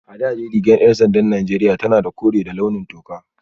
A da dai rigar ‘yan sandan Najeriya tana da kore da launin toka